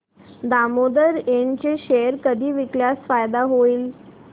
Damodar Ind चे share कधी विकल्यास फायदा होईल